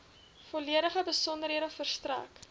volledige besonderhede verstrek